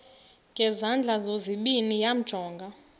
ngezandla zozibini yamjonga